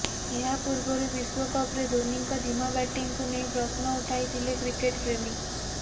ଏହାପୂର୍ବରୁ ବିଶ୍ୱକପରେ ଧୋନିଙ୍କ ଧୀମା ବ୍ୟାଟିଂକୁ ନେଇ ପ୍ରଶ୍ନ ଉଠାଇଥିଲେ କ୍ରିକେଟପ୍ରେମୀ